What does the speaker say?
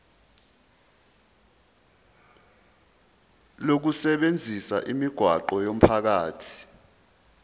lokusebenzisa imigwaqo yomphakathi